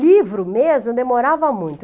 Livro mesmo, eu demorava muito.